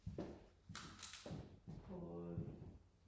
på